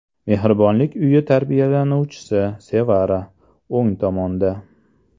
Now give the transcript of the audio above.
Mehribonlik uyi tarbiyalanuvchisi Sevara (o‘ng tomonda).